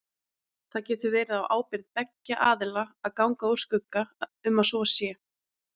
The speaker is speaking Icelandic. Það getur verið á ábyrgð beggja aðila að ganga úr skugga um að svo sé.